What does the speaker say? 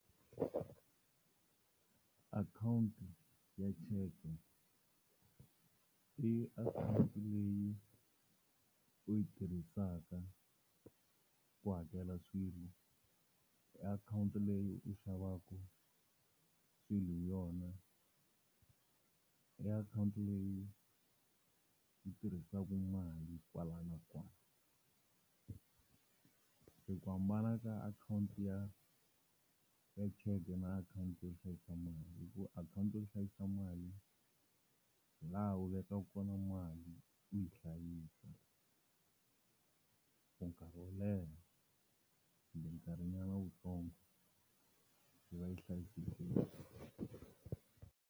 Akhawunti ya cheke, i account leyi u yi tirhisaka ku hakela swilo, i akhawunti leyi u xavaka swilo hi yona, i akhawunti leyi u tirhisaka mali kwala na kwala. Se ku hambana ka akhawunti ya cheke na akhawunti yo hlayisa mali, i ku akhawunti yo hlayisa mali hilaha u vekaka kona mali u yi hlayisa for nkarhi wo leha kumbe nkarhinyana wutsongo, yi va yi hlayisekile.